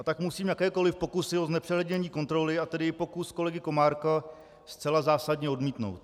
A tak musím jakékoli pokusy o znepřehlednění kontroly, a tedy i pokus kolegy Komárka, zcela zásadně odmítnout.